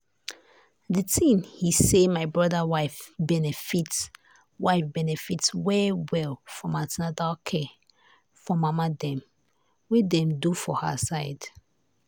the thing he say my brother wife benefit wife benefit well well from the an ten atal care for mama dem wey dem do for her side.